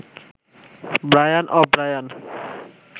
Brian ও Brian